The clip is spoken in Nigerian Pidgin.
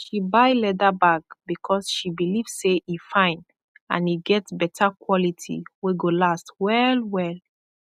she buy leather bag bikos she bilif sey e fine and e get beta kwoliti wey go last wellwell